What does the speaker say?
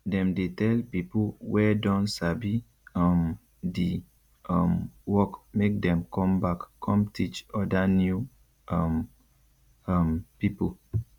dem dey tell pipo wey don sabi um di um work make dem com back com teach oda new um um pipo